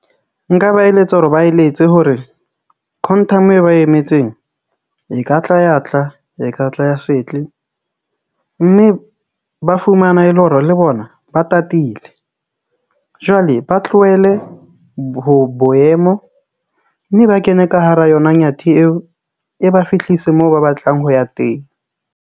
Nka ba eletsa hore ba eletse hore Quantum e ba emetseng e ka tla ya tla e ka tla ya setle mme, ba fumana e le hore le bona ba tatile jwale ba tlohele ho boemo mme ba kene ka hara yona Nyathi eo. E ba fihlise moo ba batlang ho ya teng.